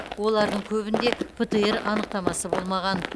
олардың көбінде птр анықтамасы болмаған